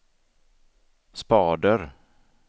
spader